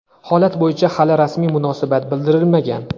Holat bo‘yicha hali rasmiy munosabat bildirilmagan.